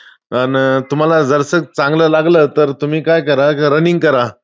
अन तुम्हांला जरासं चांगलं लागलं तर तुम्ही काय करा running करा.